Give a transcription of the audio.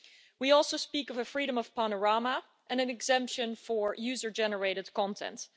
We also speak of a freedom of panorama and an exemption for user generated content.